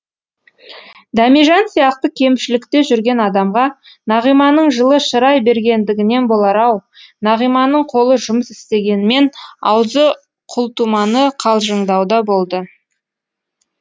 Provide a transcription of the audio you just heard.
дәмежан сияқты кемшілікте жүрген адамға нағиманың жылы шырай бергендігінен болар ау нағиманың қолы жұмыс істегенмен аузы құлтуманы қалжыңдауда болды